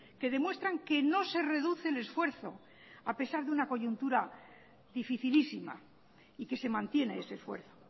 que demuestran que no se reduce el esfuerzo a pesar de una coyuntura dificilísima y que se mantiene ese esfuerzo